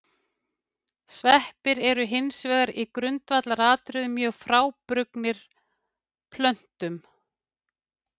Sveppir eru hins vegar í grundvallaratriðum mjög frábrugðnir plöntum.